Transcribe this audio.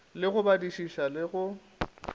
le go badišiša le go